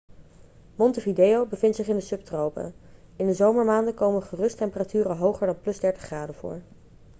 montevideo bevindt zich in de subtropen. in de zomermaanden komen gerust temperaturen hoger dan +30°c voor